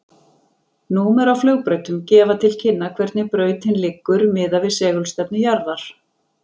Númer á flugbrautum gefa til kynna hvernig brautin liggur miðað við segulstefnu jarðar.